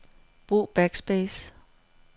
Brug backspace.